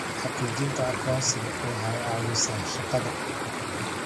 Xaqiijinta aqoonsiga waxay caawisaa shaqada.